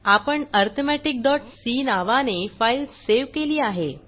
आपण arithmeticसी नावाने फाईल सेव्ह केली आहे